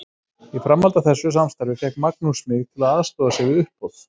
Í framhaldi af þessu samstarfi fékk Magnús mig til að aðstoða sig við uppboð.